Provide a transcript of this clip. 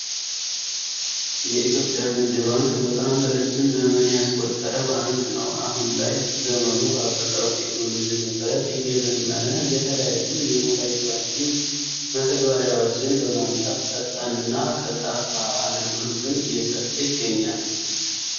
የኢትዮጵያ ንግድ ባንክ በጣም ረጅም ዘመን ያስቆጠረ ባንክ ነው። አሁን ላይ ዘመኑ ባፈራው ቴክኖሎጂ መሰረት እየዘመነ የተለያዩ የሞባይል ባንኪንግ መተግበሪያዎችን በማምጣት ፈጣን እና ቀልጣፋ አገልግሎትን እየሰጠ ይገኛል።